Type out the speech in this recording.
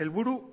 helburu